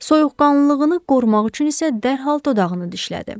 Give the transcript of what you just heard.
Soyuqqanlılığını qorumaq üçün isə dərhal dodağını dişlədi.